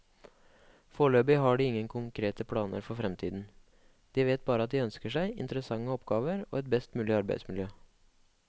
Foreløpig har de ingen konkrete planer for fremtiden, de vet bare at de ønsker seg interessante oppgaver og et best mulig arbeidsmiljø.